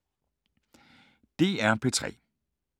DR P3